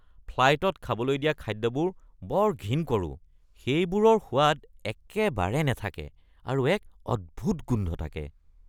ফ্লাইটত খাবলৈ দিয়া খাদ্যবোৰ বৰ ঘিণ কৰোঁ। সেইবোৰৰ সোৱাদ একেবাৰে নাথাকে আৰু এক অদ্ভুত গোন্ধ থাকে।